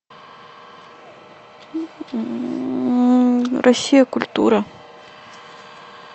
россия культура